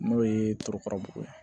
N'o ye torokarabugu ye